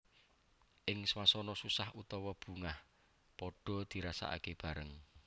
Ing swasana susah utawa bungah padhaa dirasakake bareng